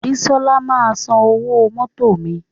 Bísola máa san owó mótò mi